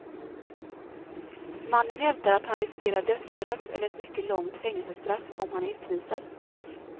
Mannen hävdar att han riskerar dödsstraff eller ett mycket långt fängelsestraff om han utvisas.